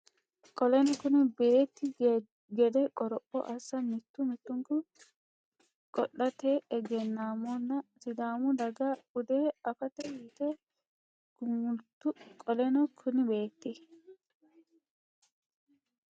Qoleno kuni beetti gede qoropho assa mittu mittunku qoodaati egennaamohonna Sidaamu daga bude afate yite gumultu Qoleno kuni beetti gede.